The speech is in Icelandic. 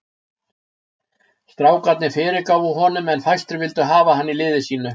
Strákarnir fyrirgáfu honum en fæstir vildu hafa hann í liði sínu.